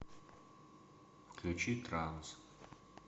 включи транс